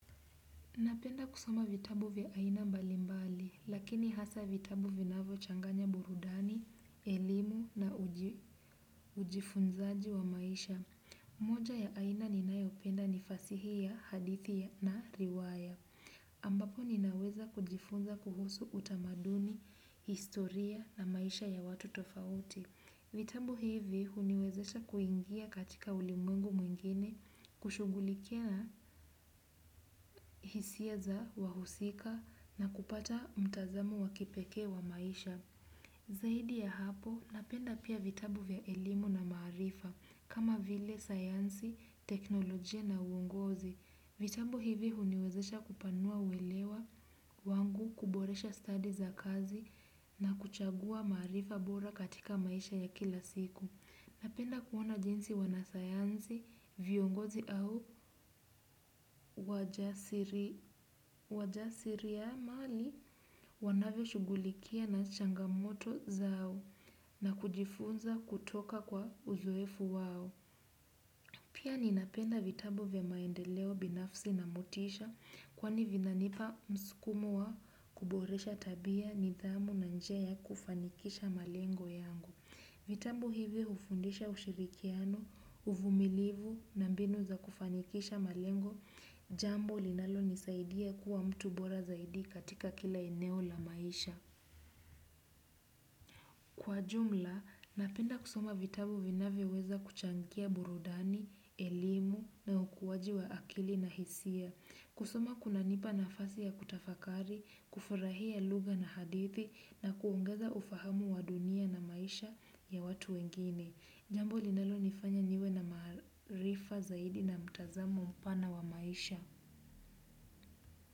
Napenda kusoma vitabu vya aina mbali mbali, lakini hasa vitabu vinavyochanganya burudani, elimu na ujifunzaji wa maisha. Moja ya aina ninayopenda ni fasihi ya hadithi na riwaya. Ambapo ninaweza kujifunza kuhusu utamaduni, historia na maisha ya watu tofauti. Vitabu hivi huniwezesha kuingia katika ulimwengu mwingine kushugulikia hisia za wahusika na kupata mtazamo wa kipekee wa maisha. Zaidi ya hapo napenda pia vitabu vya elimu na maarifa kama vile, sayansi, teknolojia na uongozi. Vitabu hivi huniwezesha kupanua uelewa wangu kuboresha study za kazi na kuchagua maarifa bora katika maisha ya kila siku. Napenda kuona jinsi wanasayansi, viongozi au wajasiriamali wanavyoshugulikia na changamoto zao na kujifunza kutoka kwa uzoefu wao. Pia ninapenda vitabu vya maendeleo binafsi na motisha kwani vinanipa msukumo wa kuboresha tabia nidhamu na njia ya kufanikisha malengo yangu. Vitabu hivi hufundisha ushirikiano, uvumilivu na mbinu za kufanikisha malengo, jambo linalonisaidia kuwa mtu bora zaidi katika kila eneo la maisha. Kwa ujumla, napenda kusoma vitabu vinavyoweza kuchangia burudani, elimu na ukuwaji wa akili na hisia. Kusoma kunanipa nafasi ya kutafakari, kufurahia lugha na hadithi na kuongeza ufahamu wa dunia na maisha ya watu wengine. Jambo linalonifanya niwe na maarifa zaidi na mtazamo mpana wa maisha.